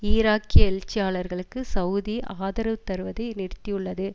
ஈராக்கிய எழுச்சியாளர்களுக்கு செளதி ஆதரவு தருவதை நிறுத்தியுள்ளது